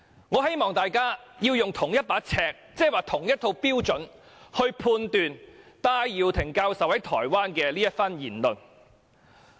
我希望大家使用同一把尺，即同一套標準，判斷戴耀廷教授在台灣發表的這番言論。